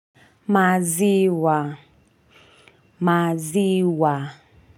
Maziwa maziwa.